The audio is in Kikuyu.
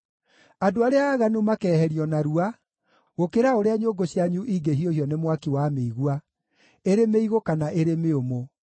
Andũ arĩa aaganu makeeherio narua, gũkĩra ũrĩa nyũngũ cianyu ingĩhiũhio nĩ mwaki wa mĩigua, ĩrĩ mĩigũ kana ĩrĩ mĩũmũ.